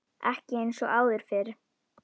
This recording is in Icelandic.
Ekki eins og áður fyrr.